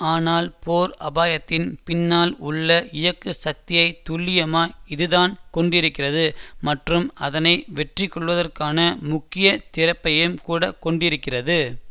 ஆனால் போர் அபாயத்தின் பின்னால் உள்ள இயக்கு சக்தியை துல்லியமாய் இதுதான் கொண்டிருக்கிறது மற்றும் அதனை வெற்றிகொள்வதற்கான முக்கிய திறப்பையம் கூட கொண்டிருக்கிறது